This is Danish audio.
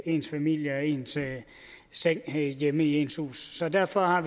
ens familie og ens seng hjemme i ens hus derfor har